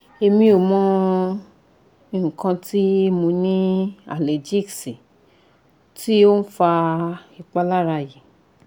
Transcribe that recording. emi o mo ikan ti mo ni allergy si ti o n fa ipalara yi